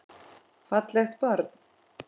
Fallegt barn.